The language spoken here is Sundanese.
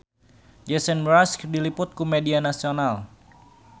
Jason Mraz diliput ku media nasional